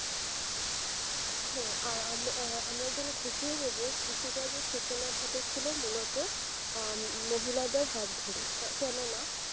হম আর আমাদের আর আমরা জেনে খুশিও হবো কৃষি কাজের সূচনা ছিল আহ মূলত মহিলাদের ধরে কেননা